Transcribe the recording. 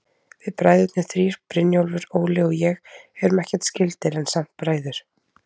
Við bræðurnir þrír, Brynjólfur, Óli og ég, erum ekkert skyldir, en samt bræður.